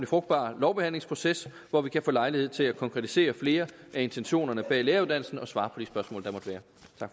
frugtbar lovbehandlingsproces hvor vi kan få lejlighed til at konkretisere flere af intentionerne bag læreruddannelsen og svare